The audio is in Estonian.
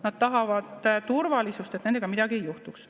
Nad tahavad turvalisust, et nendega midagi ei juhtuks.